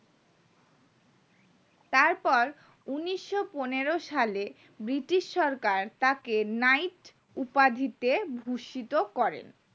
তারপর উন্নিশো পনেরো সালে british সরকার তাকে নাইট উপাধিতে ভূষিত করেন